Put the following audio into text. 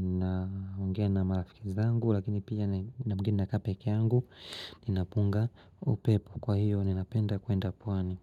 naongea na marafiki zangu Lakini pia wakati mwingine nakaa peke yangu Ninapunga upepo, kwa hiyo, ninapenda kuenda pwani.